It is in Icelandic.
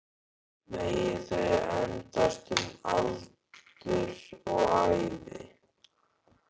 Megi þau endast um aldur og ævi